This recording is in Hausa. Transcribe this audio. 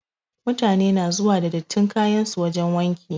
Mutane na zuwa da dattin kayan su wajen wanki.